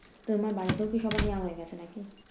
তোমার বাড়িতেও কি সবার নেয়া হয়ে গেছে নাকি?